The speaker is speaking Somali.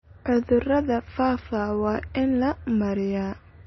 Cudurada faafa waa in la maareeyaa.